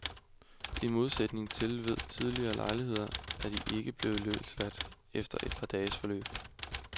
I modsætning til ved tidligere lejligheder er de ikke blevet løsladt efter et par dages forløb.